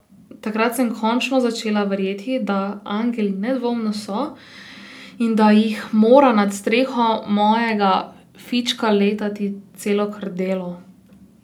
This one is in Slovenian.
Takrat sem končno začela verjeti, da angeli nedvomno so in da jih mora nad streho mojega fička letati celo krdelo.